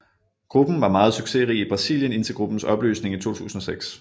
Gruppen var meget succesrig i Brasilien indtil gruppens opløsning i 2006